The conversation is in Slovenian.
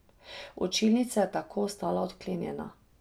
Učilnica je tako ostala odklenjena.